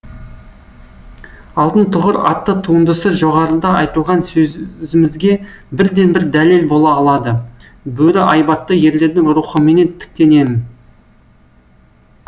алтын тұғыр атты туындысы жоғарыда айтылған сөзімізге бірден бір дәлел бола алады бөрі айбатты ерлердің рухыменен тіктенем